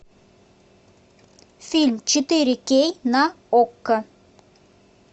фильм четыре кей на окко